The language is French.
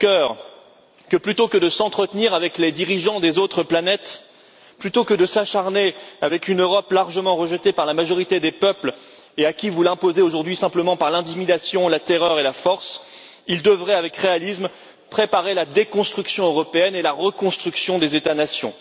Juncker que, plutôt que de s'entretenir avec les dirigeants des autres planètes, plutôt que de s'acharner avec une Europe largement rejetée par la majorité des peuples et que vous voulez imposer aujourd'hui simplement par l'intimidation, la terreur et la force, il devrait avec réalisme préparer la déconstruction européenne et la reconstruction des États nations.